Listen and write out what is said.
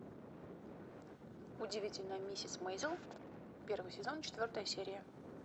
удивительная миссис мейзел первый сезон четвертая серия